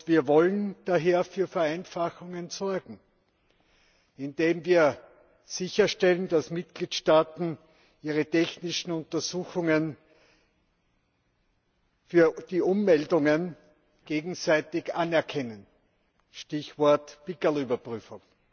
Wir wollen daher für Vereinfachungen sorgen, indem wir sicherstellen, dass die Mitgliedstaaten ihre technischen Untersuchungen für die Ummeldungen gegenseitig anerkennen. Stichwort Pickerl Überprüfung.